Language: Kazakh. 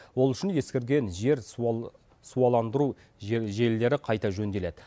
ол үшін ескірген жер суаландыру желілері қайта жөнделеді